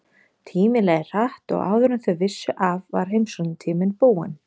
Tíminn leið hratt og áður en þau vissu af var heimsóknartíminn búinn.